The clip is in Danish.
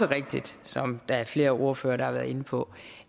rigtigt som flere ordfører også har været inde på